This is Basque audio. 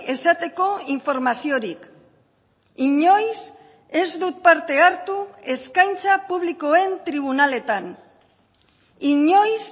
esateko informaziorik inoiz ez dut parte hartu eskaintza publikoen tribunaletan inoiz